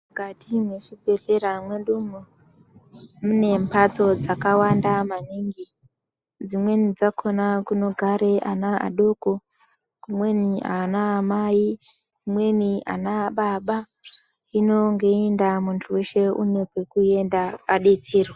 Mukati mezvibhedhlera mwedu munembatso dzakawanda maningi imweni dzakona kunogara ana vadoko imweni ana mai imweni anababa hino ngeyiindaa munhuweshe unekwekuenda adetserwe.